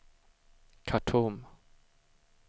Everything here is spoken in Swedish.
Khartoum